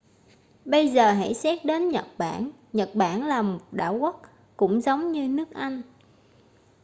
bây giờ hãy xét đến nhật bản nhật bản là một đảo quốc cũng giống như nước anh